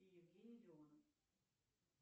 и евгений леонов